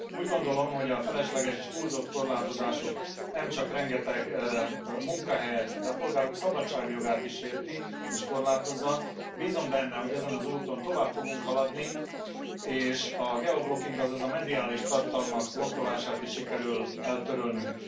Úgy gondolom, hogy a felesleges és túlzott korlátozások nemcsak rengeteg munkahelyet, de a polgárok szabadságjogát is sérti, és korlátozza, bízom benne, hogy ezen az úton tovább fogunk haladni, és a geoblocking, azaz a mediális tartalmak blokkolását is sikerül eltörölnünk.